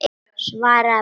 Svaraðu bara.